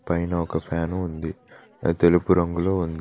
పైన ఒక ఫ్యాను ఉంది అది తెలుపు రంగులో ఉంది.